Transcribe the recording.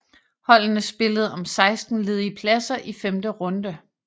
Holdene spillede om 16 ledige pladser i femte runde